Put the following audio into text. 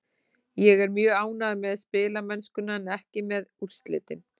Ég er mjög ánægður með spilamennskuna en ekki með úrslitin.